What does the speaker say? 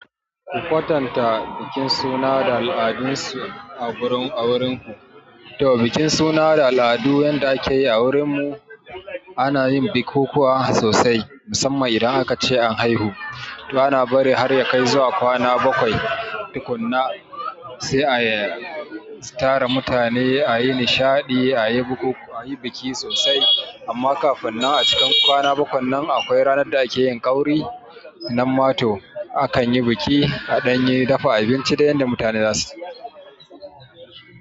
Ku kwatanta bikin suna da al'adunsu a wurin, a wurinku. To bikin suna da al'adu yanda akeyi a wurin mu ana yin bikukuwa sosai musamman idan aka ace an aihu. To ana bari har yakai zuwa kwana bakwai. Tukanna sai ai tara mutane, a yi nishadi, a yi bukukuwa, a yi biki sosai. Amma kafinnan a cikin kwana bakwan nan akwai ranar da akeyin ƙauri na mato. Akan yi biki a danye, dafa abinci da yadda mutane za su.